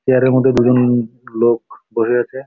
Chair -এর মধ্যে দুজন উ লোক বসে আছে।